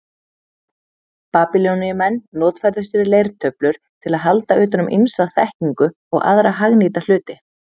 Babýloníumenn notfærðu sér leirtöflur til að halda utan um ýmsa þekkingu og aðra hagnýta hluti.